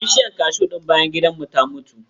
Bishiyar kashu ɗin bayan gidan mu ta mutu.